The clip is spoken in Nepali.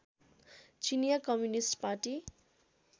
चिनिया कम्युनिस्ट पार्टी